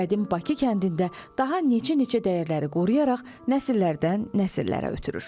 Qədim Bakı kəndində daha neçə-neçə dəyərləri qoruyaraq nəsillərdən nəsillərə ötürür.